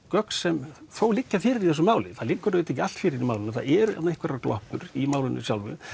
gögn sem þó liggja fyrir í þessu máli það liggur auðvitað ekki allt fyrir í málinu það eru einhverjar gloppur í málinu sjálfu